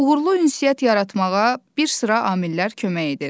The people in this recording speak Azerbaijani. Uğurlu ünsiyyət yaratmağa bir sıra amillər kömək edir.